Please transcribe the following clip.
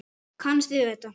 Kannist þið við þetta?